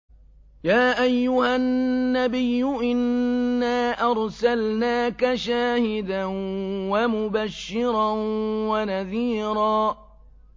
يَا أَيُّهَا النَّبِيُّ إِنَّا أَرْسَلْنَاكَ شَاهِدًا وَمُبَشِّرًا وَنَذِيرًا